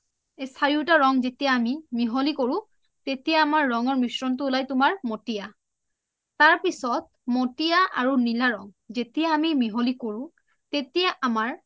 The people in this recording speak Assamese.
এই চাৰিওটা ৰং যেতিয়া আমি মিহলি কৰো তেতিয়া আমাৰ ৰংৰ মিশ্ৰণটো উলাই তুমাৰ মতিয়া তাৰপিছত যেতিয়া মতিয়া আৰু নীলা ৰং যেতিয়া আমি মিহলি কৰো তেতিয়া আমাৰ